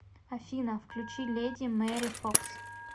афина включи леди мэри фокс